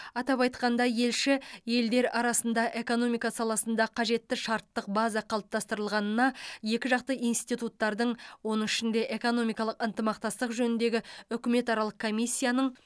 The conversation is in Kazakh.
атап айтқанда елші елдер арасында экономика саласында қажетті шарттық база қалыптастырылғанына екіжақты институттардың оның ішінде экономикалық ынтымақтастық жөніндегі үкіметаралық комиссияның